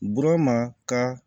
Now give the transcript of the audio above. Burama ka